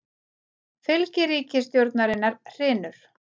Fylgi ríkisstjórnarinnar hrynur